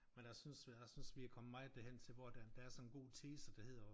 Men jeg synes jeg synes vi er kommet meget hen til hvor at der er der er sådan en god tese der hedder